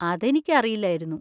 അതെനിക്ക് അറിയില്ലായിരുന്നു.